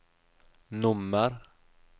nummer